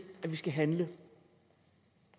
at vi skal handle